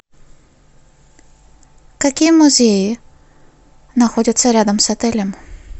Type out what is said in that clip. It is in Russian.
какие музеи находятся рядом с отелем